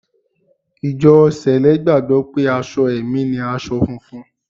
Ìjọ Sẹ̀lẹ́ gbàgbọ́ pé aṣọ ẹ̀mí ni aṣọ funfun